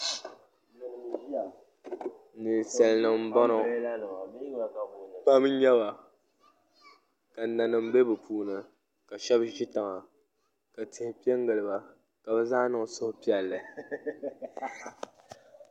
Ninsal nim n boŋo pam n nyɛba ka nanim bɛ bi puuni ka shab ʒi tiŋa ka tihi piɛ n giliba ka bi zaa niŋ suhupiɛlli